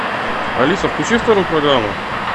алиса включи вторую программу